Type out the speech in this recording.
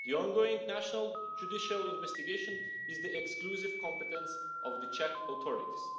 The ongoing national judicial investigation is the exclusive competence of the Czech authorities.